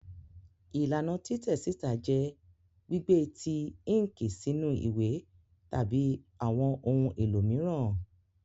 Ilana titẹ sita jẹ gbigbe ti inki sinu iwe tabi awọn ohun elo miiran.